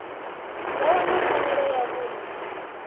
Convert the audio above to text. nga wana pfanelo ya vhuṋe